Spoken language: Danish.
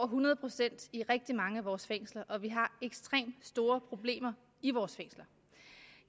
hundrede procent i rigtig mange af vores fængsler og vi har ekstremt store problemer i vores fængsler